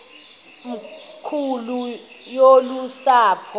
nkulu yolu sapho